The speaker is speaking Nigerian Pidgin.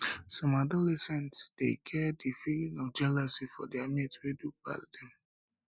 some adolescents dey get the feeling of jealousy for their mate wey do pass dem